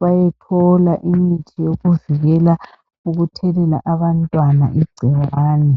bayethola imithi yokuvikela ukuthelela abantwana igcikwane.